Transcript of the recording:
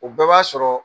O bɛɛ b'a sɔrɔ